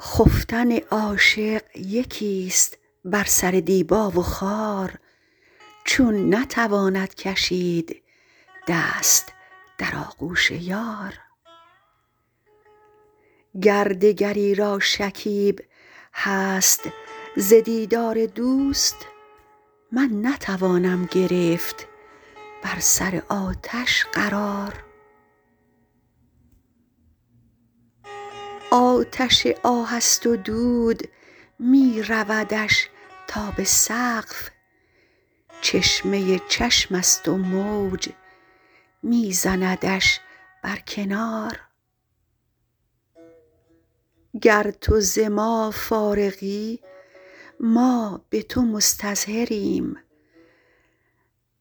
خفتن عاشق یکیست بر سر دیبا و خار چون نتواند کشید دست در آغوش یار گر دگری را شکیب هست ز دیدار دوست من نتوانم گرفت بر سر آتش قرار آتش آه است و دود می رودش تا به سقف چشمه چشمست و موج می زندش بر کنار گر تو ز ما فارغی ما به تو مستظهریم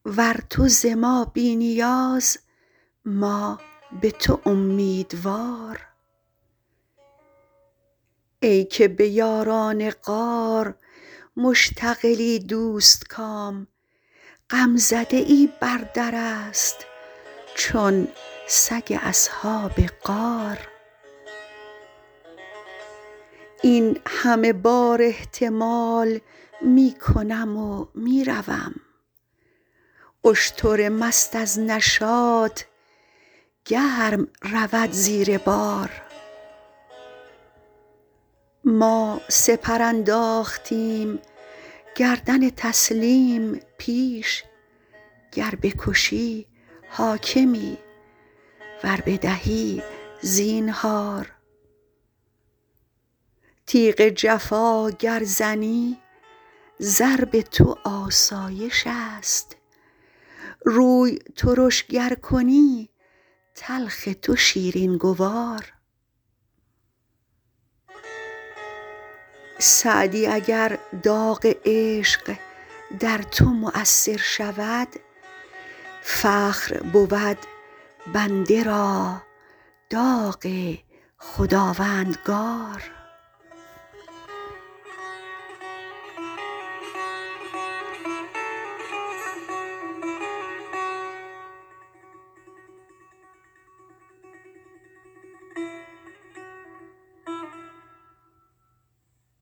ور تو ز ما بی نیاز ما به تو امیدوار ای که به یاران غار مشتغلی دوستکام غمزده ای بر درست چون سگ اصحاب غار این همه بار احتمال می کنم و می روم اشتر مست از نشاط گرم رود زیر بار ما سپر انداختیم گردن تسلیم پیش گر بکشی حاکمی ور بدهی زینهار تیغ جفا گر زنی ضرب تو آسایشست روی ترش گر کنی تلخ تو شیرین گوار سعدی اگر داغ عشق در تو مؤثر شود فخر بود بنده را داغ خداوندگار